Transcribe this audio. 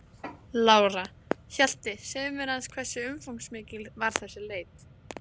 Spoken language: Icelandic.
Lára: Hjalti, segðu mér aðeins hversu umfangsmikil var þessi leit?